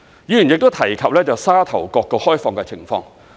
議員亦提及沙頭角的開放情況。